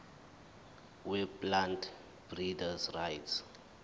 weplant breeders rights